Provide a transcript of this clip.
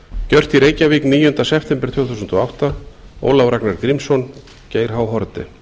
gjört í reykjavík níunda september tvö þúsund og átta ólafur ragnar grímsson geir h haarde